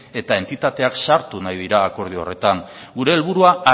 eta entitateak sartu nahi dira akordio horretan gure helburua